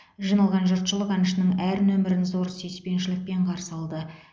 жиналған жұртшылық әншінің әр нөмірін зор сүйіспеншілікпен қарсы алды